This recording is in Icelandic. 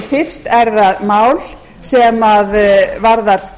fyrst er það mál sem varðar